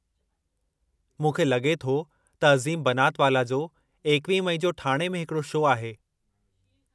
मूंखे लॻे थो त अज़ीम बनातवाला जो 21 मई जो ठाणे में हिकड़ो शो आहे।